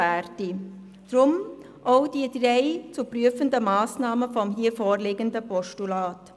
Deshalb auch die drei zu prüfenden Massnahmen des hier vorliegenden Postulats.